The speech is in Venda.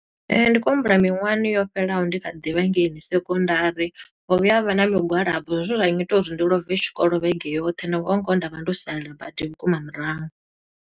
Ee, ndi khou humbula miṅwahani yo fhelelaho ndi kha ḓivha ngeini sekondari, ho vhuya ha vha na migwalabo. Zwe zwa ngita uri ndi love tshikolo vhege yoṱhe na ngoho ngoho nda vha ndo sala badi vhukuma murahu.